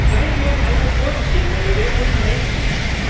Seien wir also vorsichtig in der Bewertung von hate speech.